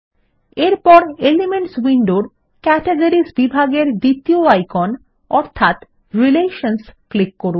এরজন্য এলিমেন্টস উইন্ডোর ক্যাটেগরিস বিভাগের দ্বিতীয় আইকন অর্থাৎ রিলেশনসহ ক্লিক করুন